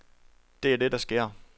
Det er det, der sker.